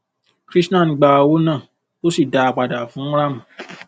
krishan gba owó náà ó sì dá a padà fún r am